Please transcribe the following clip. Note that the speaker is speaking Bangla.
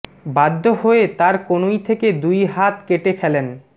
বাধ্য হয়ে তার কনুই থেকে দুই হাত কেটে ফেলেন